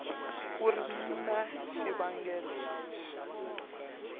ku ri na xivangelo lexi